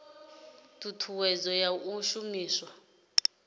ii thuthuwedzo ya u shumiswa